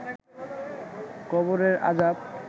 কবরের আজাব